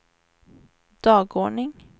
dagordning